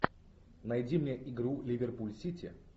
найди мне игру ливерпуль сити